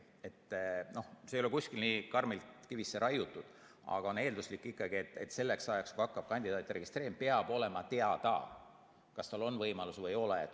See ei ole küll kuskil nii karmilt kivisse raiutud, aga on eelduslik, et selleks ajaks, kui hakkab kandidaatide registreerimine, peab olema teada, kas on võimalus või ei ole.